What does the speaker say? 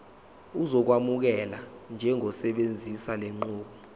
uzokwamukelwa njengosebenzisa lenqubo